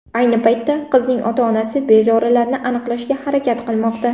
Ayni paytda qizning ota-onasi bezorilarni aniqlashga harakat qilmoqda.